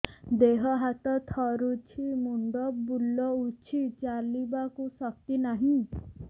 ଦେହ ହାତ ଥରୁଛି ମୁଣ୍ଡ ବୁଲଉଛି ଚାଲିବାକୁ ଶକ୍ତି ନାହିଁ